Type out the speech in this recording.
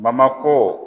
ko